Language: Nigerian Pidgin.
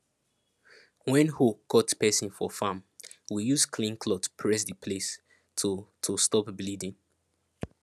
when hoe cut person for farm we use clean cloth press the place to to stop bleeding